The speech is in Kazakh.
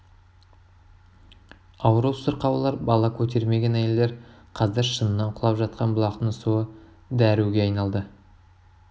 ауру сырқаулар бала көтермеген әйелдер қазір шыңнан құлап жатқан бұлақтың суы дәруге айналды